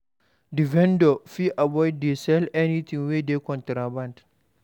Di vendor fit avoid to dey sell anything wey be contraband